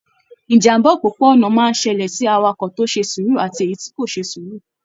Ìjàmbá òpópó-ònà máa n ṣẹlẹ sí awakọ to ṣe sùúrù àti èyí tí kò ṣe sùúrù..